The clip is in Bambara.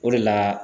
O de la